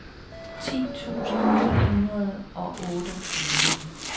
ti tusind ni hundrede og otteogtyve